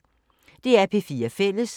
DR P4 Fælles